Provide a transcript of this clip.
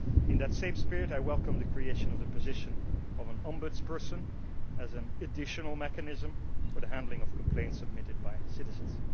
In that same spirit I welcome the creation of the position of an ombudsperson as an additional mechanism for the handling of complaints submitted by citizens.